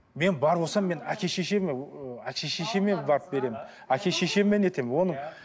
мен бар болсам мен әке шешеме ыыы әке шешеме барып беремін әке шешеме не етемін оның